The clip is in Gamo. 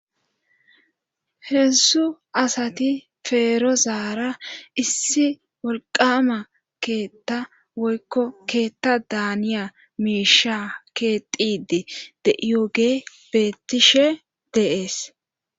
Hessu asati feero zaara issi wolqama keetta woykko keetta daaniya miisha keexidi deiyoge bettishe deees.